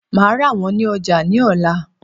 Màá rà wón ní ojà ní òla